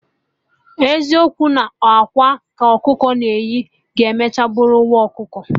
Ọbụ eziokwu na ọ akwa ka ọkụkọ na-eyi, ga-emecha bụrụ nwa ọkụkọ?